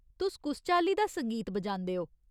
तुस कुस चाल्ली दा संगीत बजांदे ओ ?